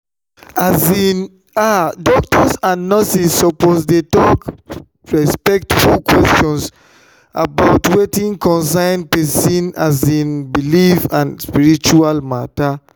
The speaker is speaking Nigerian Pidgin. um ah doctors and nurses suppose dey ask respectful questions about wetin concern person um belief or spiritual matter.